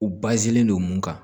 U don mun kan